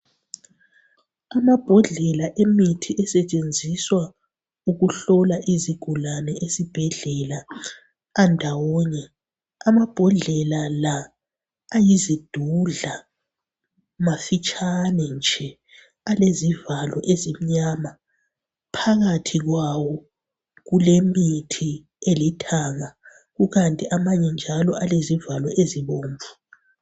Amabhodlela emithi esetshenziswa ukuhlola izigulane esibhedlela andawonye, Amabhodlela la, ayizidudla, mafitshane nje. Alezivalo ezimnyama. Phakathi kwawo kulemithi elithanga. Kukanti amanye njalo, alezivalo ezibomvu.